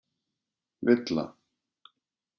Villa